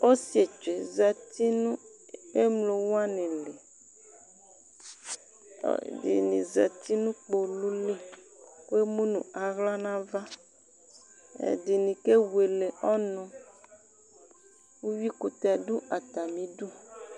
Ɔsietsu yɛ zati nʋ emlo wani li, ɔlʋɛdini zati nʋ kpolu li kʋ emu nʋ aɣla n'ava Ɛdini kewele ɔnʋ Uyuikʋtɛ dʋ atamidu